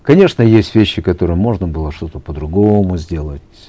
конечно есть вещи которые можно было что то по другому сделать